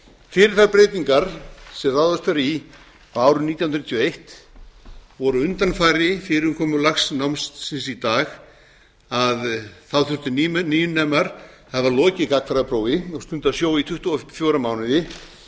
fyrir þær breytingar sem ráðist var í á árinu nítján hundruð níutíu og eins og voru undanfari fyrirkomulags námsins í dag þurftu nýnemar að hafa lokið gagnfræðaprófi og stundað sjó í tuttugu og fjóra mánuði